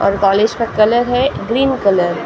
और कॉलेज का कलर है ग्रीन कलर --